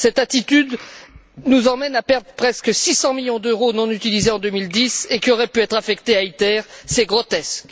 Cette attitude nous conduit à perdre presque 600 millions d'euros non utilisés en 2010 et qui auraient pu être affectés à ITER, c'est grotesque!